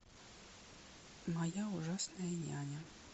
моя ужасная няня